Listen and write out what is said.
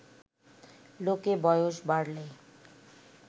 লোকে বয়স বাড়লে